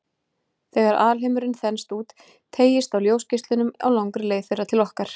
Þegar alheimurinn þenst út, teygist á ljósgeislunum á langri leið þeirra til okkar.